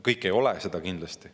Kõik ei ole seda kindlasti.